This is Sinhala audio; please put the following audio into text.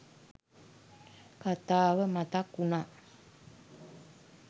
කතාව මතක් වුණා.